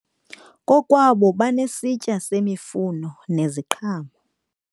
Kokwabo basesitiya semifuno neseziqhamo.